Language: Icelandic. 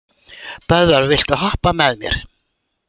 Böðvar, viltu hoppa með mér?